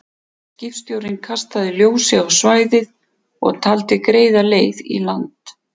Skipstjórinn kastaði ljósi á svæðið og taldi greiða leið í land.